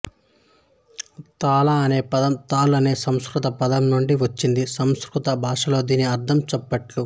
తాళ అనే పదం తాల్ అనే సంస్కృత పదం నుండి వచ్చింది సంస్కృత భాషలో దీని అర్థం చప్పట్లు